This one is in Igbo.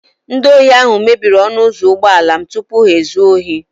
Ndị ohi ahụ mebiri ọnụ ụzọ ụgbọala m tupu ha ezuo ohi